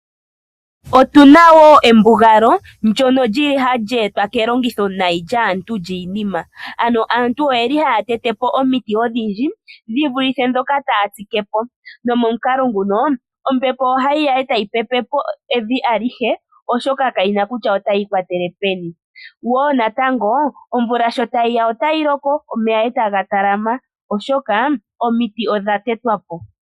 Otuna embugalo ndyono hali etwa ketetopo lyomiti odhindji. Shino ohashi etele omudhingoloko uuwinayi molwaashoka ombepo ohayi pepepo evi alihe lyonefundja ohali vulu okukungulapo evi ndyoka molwaashoka omiti odha tetwapo.